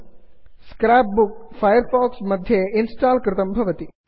scrap book scrapbook Firefox मध्ये install कृतं भवति